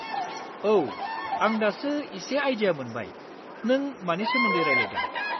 औ, आं दासो इसे आइडिया मोनबाय नों मानि सोमोन्दै रायलायदों।